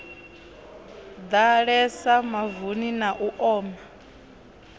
ḓalesa mavuni na u oma